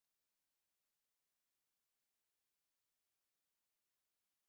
Ji eyere èyé bụ ihe ntaghari ọnụ na amasị Onye ọ bụla